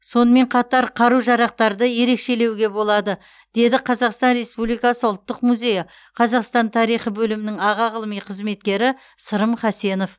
сонымен қатар қару жарақтарды ерекшелеуге болады деді қазақстан республикасы ұлттық музейі қазақстан тарихы бөлімінің аға ғылыми қызметкері сырым хасенов